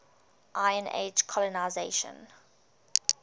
iron age colonisation